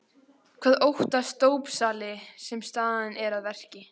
Hvað óttast dópsali sem staðinn er að verki?